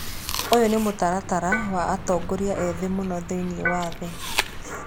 Ũyũ nĩ mũtaratara wa atongoria ethĩ mũno thĩinĩ wa thĩ.